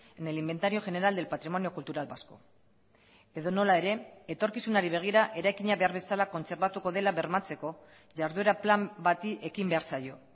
en el inventario general del patrimonio cultural vasco edonola ere etorkizunari begira eraikina behar bezala kontserbatuko dela bermatzeko jarduera plan bati ekin behar zaio